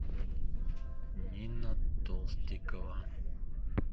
нина толстикова